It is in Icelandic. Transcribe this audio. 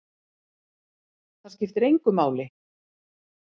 Það skiptir engu máli!